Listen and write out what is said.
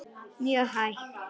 Mjög hægt.